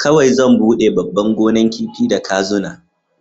kowai zan bude babban gonan kifi da kazuna.